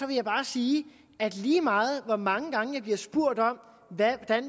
vil jeg bare sige at lige meget hvor mange gange bliver spurgt om hvordan